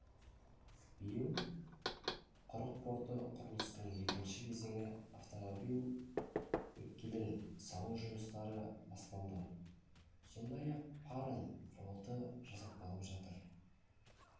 биыл құрық порты құрылысының екінші кезеңі автомобиль өткелін салу жұмыстары басталды сондай-ақ паром флоты жасақталып жатыр